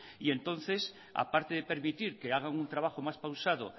y entonces aparte de permitir que hagan un trabajo más pausado